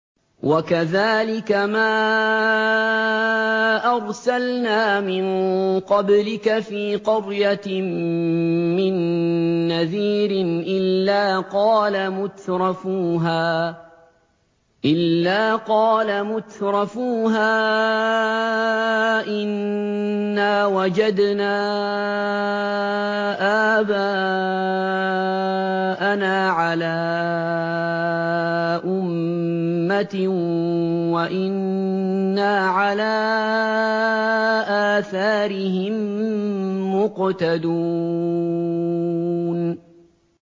وَكَذَٰلِكَ مَا أَرْسَلْنَا مِن قَبْلِكَ فِي قَرْيَةٍ مِّن نَّذِيرٍ إِلَّا قَالَ مُتْرَفُوهَا إِنَّا وَجَدْنَا آبَاءَنَا عَلَىٰ أُمَّةٍ وَإِنَّا عَلَىٰ آثَارِهِم مُّقْتَدُونَ